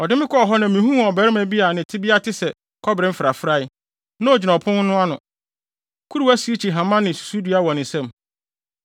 Ɔde me kɔɔ hɔ na mihuu ɔbarima bi a ne tebea te sɛ kɔbere mfrafrae; na ogyina ɔpon no ano, kura sirikyi hama ne susudua wɔ ne nsam.